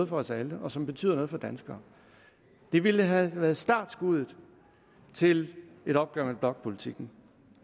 for os alle og som betyder noget for danskere det ville have været startskuddet til et opgør med blokpolitikken